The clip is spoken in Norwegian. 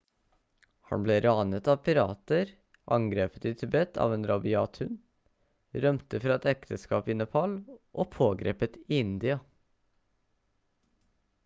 han ble ranet av pirater angrepet i tibet av en rabiat hund rømte fra et ekteskap i nepal og pågrepet i india